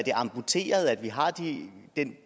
amputeret at vi har